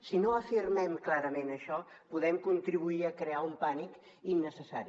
si no afirmem clarament això podem contribuir a crear un pànic innecessari